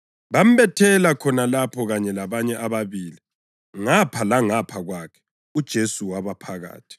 Bambethela khona lapho kanye labanye ababili, ngapha langapha kwakhe, uJesu waba phakathi.